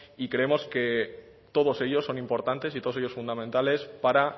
y creemos que todos ellos son importantes y todos ellos fundamentales para